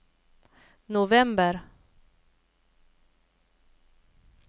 november